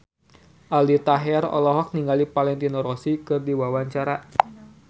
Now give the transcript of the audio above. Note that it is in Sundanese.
Aldi Taher olohok ningali Valentino Rossi keur diwawancara